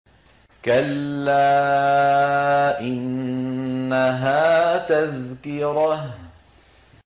كَلَّا إِنَّهَا تَذْكِرَةٌ